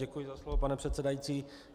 Děkuji za slovo pane předsedající.